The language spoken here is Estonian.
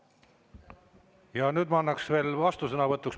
Ja nüüd ma annaks veel sõna vastusõnavõtuks.